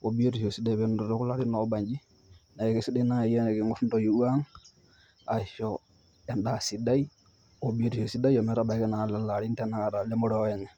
peenotito kulo arin oobanji, neeku kesidai naaji teniing'orr entoiwuo ang' aisho endaa sidai obiotisho sidai ometabaki tanakata kulo arin lemoruao enye.